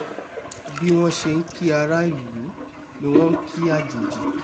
bí wọ́n ṣe nkí aráàlú ni wọ́n nkí àjèjì